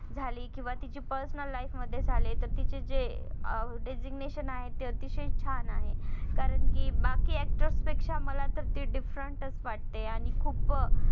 झाली किंवा तिची personal life मध्ये झाले. तर तीच जे अं designation ते अतिशय छान आहे. कारण कि बाकी actress पेक्षा मला तर ती different च वाटते. आणि खूप